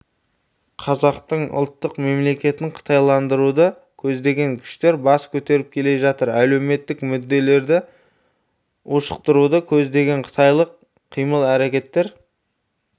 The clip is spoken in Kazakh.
қазақтың ұлттық мемлекетін қытайландыруды көздеген күштер бас көтеріп келе жатыр әлеуметтік мүдделерді ушықтыруды көздеген қытайлық қимыл-әрекеттер